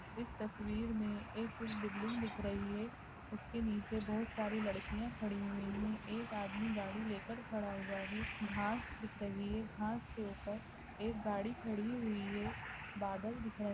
इस तस्वीर मे एक बिल्डिंग दिख रही है उसके नीचे बहुत सारी लड़किया खड़ी हुई है एक आदमी गाड़ी लेकर खड़ा हुआ है घास दिख रही है घास के ऊपर एक गाड़ी खड़ी हुई है बादल दिख र--